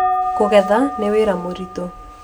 Kũgetha ni wĩra mũritũ